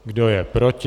Kdo je proti?